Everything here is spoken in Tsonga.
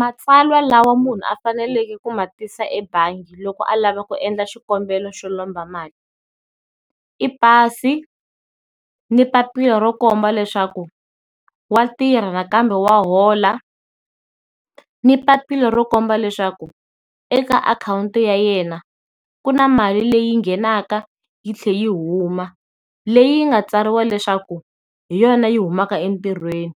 Matsalwa lawa munhu a faneleke ku ma tisa ebangi loko a lava ku endla xikombelo xo lomba mali, i pasi ni papila ro komba leswaku wa tirha nakambe wa hola ni papila ro komba leswaku eka akhawunti ya yena ku na mali leyi nghenaka yi tlhela yi huma, leyi nga tsariwa leswaku hi yona yi humaka entirhweni,